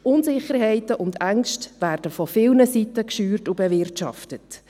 Unsicherheiten und Ängste werden von vielen Seiten geschürt und bewirtschaftet.